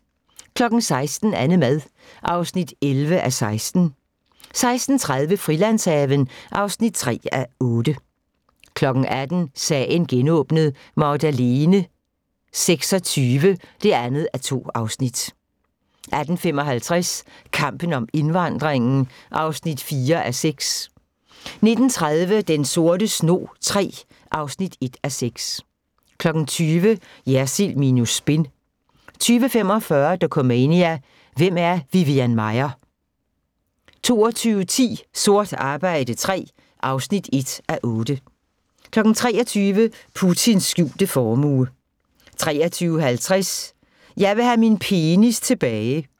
16:00: AnneMad (11:16) 16:30: Frilandshaven (3:8) 18:00: Sagen genåbnet: Magdalene 26 (2:2) 18:55: Kampen om indvandringen (4:6) 19:30: Den sorte snog III (1:6) 20:00: Jersild minus spin 20:45: Dokumania: Hvem er Vivian Maier? 22:10: Sort arbejde III (1:8) 23:00: Putins skjulte formue 23:50: Jeg vil have min penis tilbage